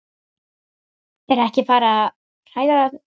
Er ekki farið að hræra þau saman í tilraunaglösum.